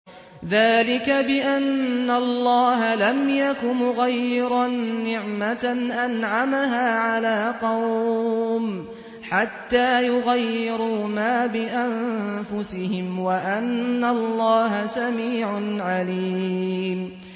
ذَٰلِكَ بِأَنَّ اللَّهَ لَمْ يَكُ مُغَيِّرًا نِّعْمَةً أَنْعَمَهَا عَلَىٰ قَوْمٍ حَتَّىٰ يُغَيِّرُوا مَا بِأَنفُسِهِمْ ۙ وَأَنَّ اللَّهَ سَمِيعٌ عَلِيمٌ